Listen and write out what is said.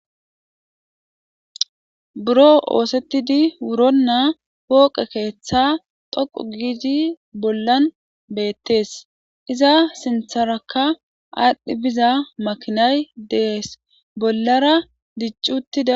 buro oosettidi wuronnaa pooqe keeththa xoqu giidi bollan beettees iza sintharakka aadhdhi biza makinay dees bollara diccuttida.